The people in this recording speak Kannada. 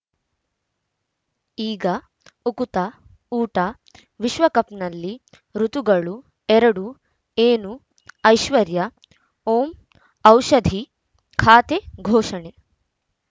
ಈಗ ಉಕುತ ಊಟ ವಿಶ್ವಕಪ್‌ನಲ್ಲಿ ಋತುಗಳು ಎರಡು ಏನು ಐಶ್ವರ್ಯಾ ಓಂ ಔಷಧಿ ಖಾತೆ ಘೋಷಣೆ